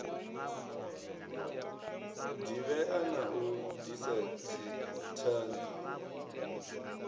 divhea na u disa dzithanzi